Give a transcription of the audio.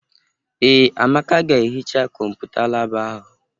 Ee, Amaka ga-ehicha Kọmputa laabụ ahụ.